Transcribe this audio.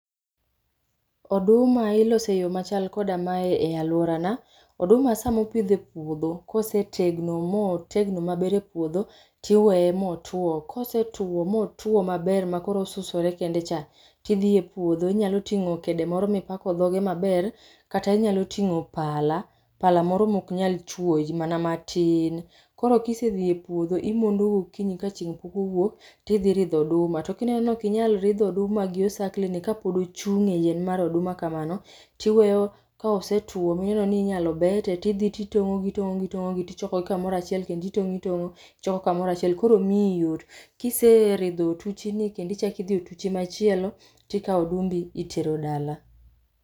Oduma ilose eyoo ma chal koda mae e aluora na, oduma sama opidhe puodho kosetegno motegno maber e puodho tiweye motuo. Kosetuo motuo maber makoro osusore kende cha tidhiye puodo tinyalo tingo kede omro mipako dhoge maber kata inyalo tingo pala, pala moro maok nyal chuoyi mana matin. Koro kisedhi e epuodho imondo gokinyi ka chieng pok owuok tidhi ridho oduma to ka ineno ni okinyal ridho oduma gi osakle ne kapod ochung e yien mar oduma kamano tiweyo ka osetuo mineno ni inyalo bete tdhi titongo gi itongo gi itongogi tichoko gi kamoro achiel kendo itongo itongo ichoko kamoro achiel koro miyi yot. Kiseridho otuchi ni kendo ichak idhie otuchi machielo tikao odumbi itero dala